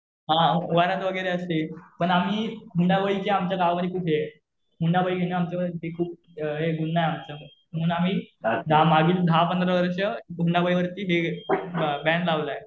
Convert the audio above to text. हा वरात वगैरे असते. पण आम्ही हुंडाबळी चे आमच्या गावामध्ये खूप आहे. हुंडाबळी घेणं हे आमच्या मध्ये खूप गुन्हा आहे आमच्या मध्ये. म्हणून आम्ही मागील दहा-पंधरा वर्ष हुंडाबळी वरती बॅन लावलेला आहे.